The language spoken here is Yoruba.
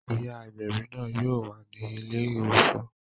Ìyá agbẹ̀bí náà yóò wà ní ilé ìwòsàn